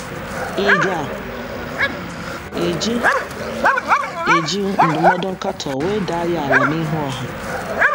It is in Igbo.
Ị̀ ga - eji ga - eji ndụmọdụ nkatọ wedaa ya ala n’ihu ọha?